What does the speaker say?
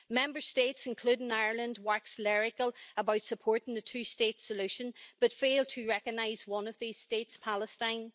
Member States, including Ireland, wax lyrical about supporting the two state solution but fail to recognise one of these states Palestine.